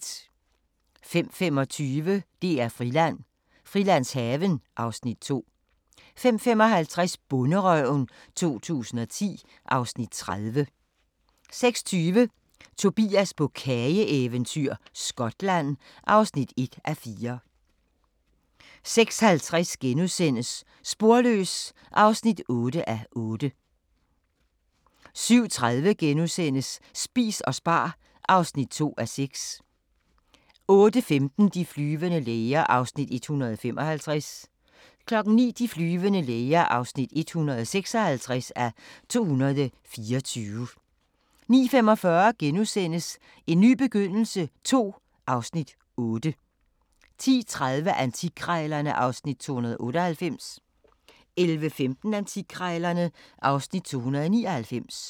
05:25: DR-Friland: Frilandshaven (Afs. 2) 05:55: Bonderøven 2010 (Afs. 30) 06:20: Tobias på kageeventyr – Skotland (1:4) 06:50: Sporløs (8:8)* 07:30: Spis og spar (2:6)* 08:15: De flyvende læger (155:224) 09:00: De flyvende læger (156:224) 09:45: En ny begyndelse II (Afs. 8)* 10:30: Antikkrejlerne (Afs. 298) 11:15: Antikkrejlerne (Afs. 299)